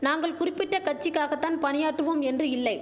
நாங்கள் குறிப்பிட்ட கட்சிக்காக தான் பணியாற்றுவோம் என்று இல்லை